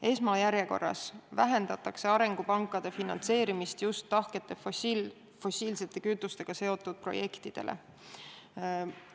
Esmajärjekorras vähendatakse arengupankade finantseerimist just tahkete fossiilsete kütustega seotud projektide arendamiseks.